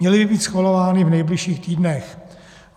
Měly by být schvalovány v nejbližších týdnech.